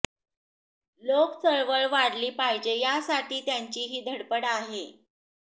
लोकचळवळ वाढली पाहिजे यासाठी त्यांची ही धडपड आहे